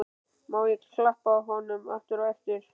Má ég þá klappa honum aftur á eftir?